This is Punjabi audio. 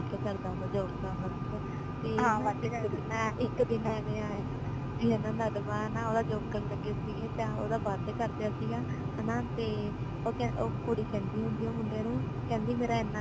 ਵੱਧ ਕਰਦਾ ਹੁੰਦਾ ਸੀ ਜੋ ਕਮ ਸੀਗਾ ਤੇ ਇੱਕ ਦਿਨ ਨਰਮਾ ਨਾ ਓਦਾਂ ਚੁੱਕਣ ਲੱਗਣ ਸੀਗੇ ਤੇ ਓਦਾ ਵੱਧ ਕਰ ਦਇਆ ਸੀਗਾ ਹਨਾ ਤੇ ਓ ਕੁੜੀ ਕਹਿੰਦੀ ਹੁੰਦੀ ਹੈ ਮੁੰਡੇ ਨੂ ਕੇਂਦੀ ਮੇਰਾ